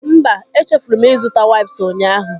Mba, echefuru m ịzụta waips ụnyaahụ